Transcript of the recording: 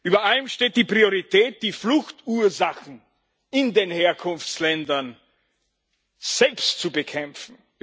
Über allem steht die Priorität, die Fluchtursachen in den Herkunftsländern selbst zu bekämpfen.